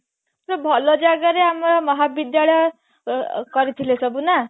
ସେ ଭଲ ଜାଗାରେ ଆମ ମହାବିଦ୍ୟାଳୟ ଅ ଅ କରିଥିଲେ ସବୁ ନା